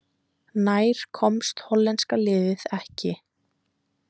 Nær komst hollenska liðið ekki